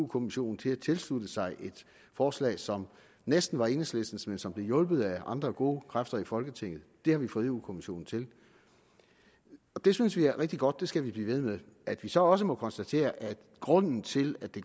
kommissionen til at tilslutte sig et forslag som næsten var enhedslistens men som blev hjulpet af andre gode kræfter i folketinget det har vi fået europa kommissionen til og det synes vi er rigtig godt det skal vi blive ved med at vi så også må konstatere at grunden til at det